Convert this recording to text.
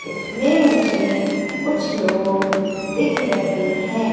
इसमें मुझे कुछ लोग दिख रहे हैं।